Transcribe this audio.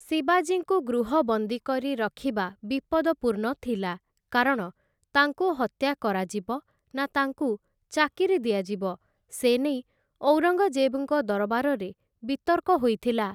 ଶିବାଜୀଙ୍କୁ ଗୃହବନ୍ଦୀ କରି ରଖିବା ବିପଦପୂର୍ଣ୍ଣ ଥିଲା, କାରଣ ତାଙ୍କୁ ହତ୍ୟା କରାଯିବ ନା ତାଙ୍କୁ ଚାକିରି ଦିଆଯିବ ସେ ନେଇ ଔରଙ୍ଗଜେବ୍‌ଙ୍କ ଦରବାରରେ ବିତର୍କ ହୋଇଥିଲା ।